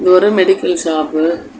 இது ஒரு medical shop .